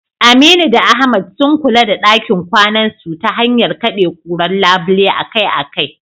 Aminu da Ahmad, sun kula da dakin kwanasu ta hanyar kade kurar labule akai-akai.